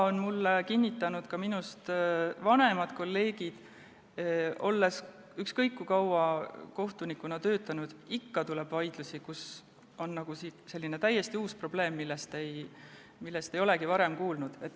Mulle on kinnitanud ka minust vanemad kolleegid, et ükskõik kui kaua kohtunikuna töötada, ikka tuleb ette vaidlusi, kus on täiesti uus probleem, millest ei olegi varem kuulnud.